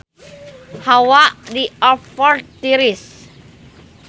Hawa di Oxford tiris